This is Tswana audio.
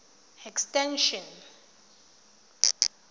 extension